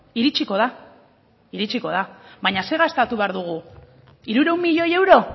iritsiko da iritsiko da baina ze gastatu behar dugu hirurehun milioi euro